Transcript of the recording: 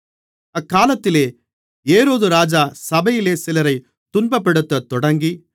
அக்காலத்திலே ஏரோதுராஜா சபையிலே சிலரைத் துன்பப்படுத்தத் தொடங்கி